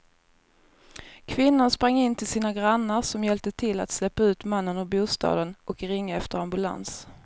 Kvinnan sprang in till sina grannar som hjälpte till att släpa ut mannen ur bostaden och ringa efter ambulans.